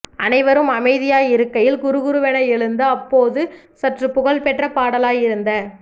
அனைவரும் அமைதியாயிருக்கையில் குறுகுறுவென எழுந்து அப்போது சற்று புகழ்பெற்ற பாடலாய் இருந்த